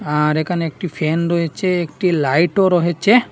আর এখানে একটি ফ্যান রয়েচে একটি লাইটও রহেচে।